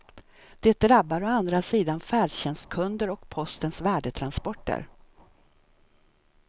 Det drabbar å andra sidan färdtjänstkunder och postens värdetransporter.